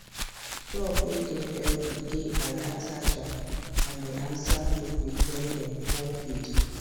flock way dey healthy dey alertagile and dey answer quick quick when dem pour feed